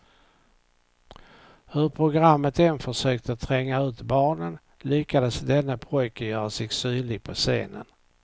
Hur programmet än försökte tränga ut barnen, lyckades denne pojke göra sig synlig på scenen.